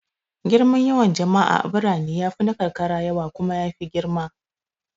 Girman yawan jama'a a birane ya fi na karkara yawa kuma ya fi girma.